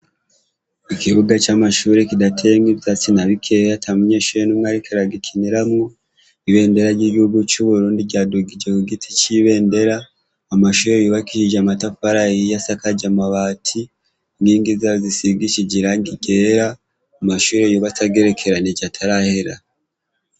Ikibuga c'amashuri kidatengwa ivya tsinabikeeya atamunyeshee n'umwe arikeragikineramwo ibendera ry'igihugu c'uburundi ryadugije ku giti c'ibendera amashuri yubakishije amatapu aray yiya sakaje amabati ngingi zaro zisigishije iranga igera amashuri yubatagerekeranije atarahera.